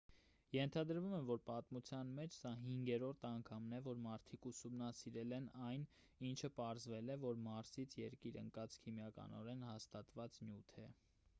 ենթադրվում է որ պատմության մեջ սա հինգերորդ անգամն է որ մարդիկ ուսումնասիրել են այն ինչը պարզվել է որ մարսից երկիր ընկածը քիմիականորեն հաստատված նյութ է